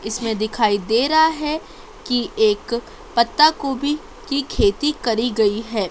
इसमें दिखाई दे रहा है कि एक पत्तागोभी की खेती करी गई है।